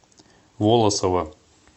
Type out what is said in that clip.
волосово